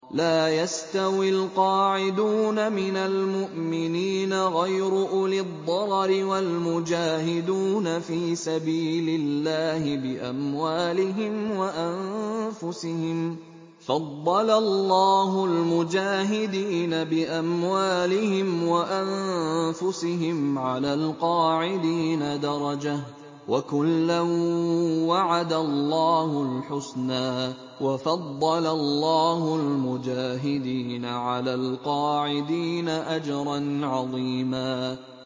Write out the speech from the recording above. لَّا يَسْتَوِي الْقَاعِدُونَ مِنَ الْمُؤْمِنِينَ غَيْرُ أُولِي الضَّرَرِ وَالْمُجَاهِدُونَ فِي سَبِيلِ اللَّهِ بِأَمْوَالِهِمْ وَأَنفُسِهِمْ ۚ فَضَّلَ اللَّهُ الْمُجَاهِدِينَ بِأَمْوَالِهِمْ وَأَنفُسِهِمْ عَلَى الْقَاعِدِينَ دَرَجَةً ۚ وَكُلًّا وَعَدَ اللَّهُ الْحُسْنَىٰ ۚ وَفَضَّلَ اللَّهُ الْمُجَاهِدِينَ عَلَى الْقَاعِدِينَ أَجْرًا عَظِيمًا